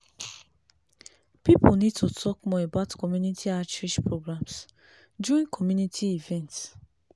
people need to talk more about community outreach programs during community events.